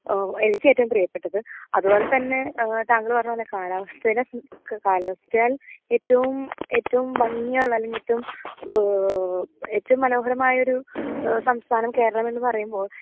ഏഹ് എനിക്ക് ഏറ്റവും പ്രിയപ്പെട്ടത് അത് പോലത്തന്നെ ഏഹ് താങ്കൾ പറഞ്ഞ പോലെ കാലാവസ്ഥേൽ കാലാവസ്ഥയാൽ ഏറ്റവും ഏറ്റവും മഞ്ഞ നനഞ്ഞിട്ടും ഏഹ് ഏറ്റവും മനോഹരമായൊരു സംസഥാനം കേരളമെന്ന് പറയുമ്പോ